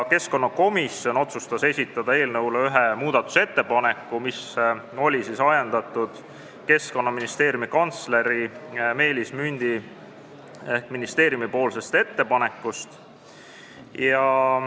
Keskkonnakomisjon otsustas esitada eelnõu kohta ühe muudatusettepaneku, mis oli ajendatud Keskkonnaministeeriumi kantsleri Meelis Mündi ehk ministeeriumi ettepanekust.